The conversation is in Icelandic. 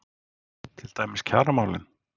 Til dæmis kjaramálin?